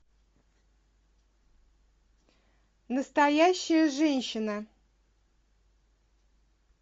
настоящая женщина